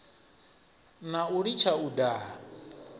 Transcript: na u litsha u daha